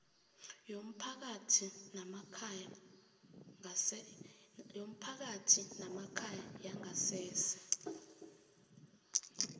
yomphakathi namkha yangasese